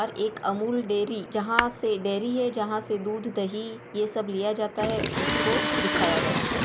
और एक अमूल डेयरी जहां से डेयरी है जहां से दूध दही ये सब लिया जाता है उसको दिखाया गया है।